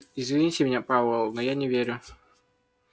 извините меня пауэлл но я не верю